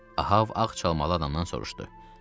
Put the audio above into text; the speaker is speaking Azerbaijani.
Ahav ağ çalmala adamdan soruşdu.